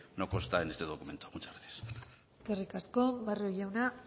no consta en este documento muchas gracias eskerrik asko barrio jauna